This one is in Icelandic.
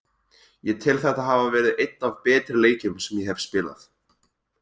Ég tel þetta hafa verið einn af betri leikjum sem ég hef spilað.